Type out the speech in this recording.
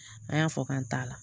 A y'a fɔ k'an t'a la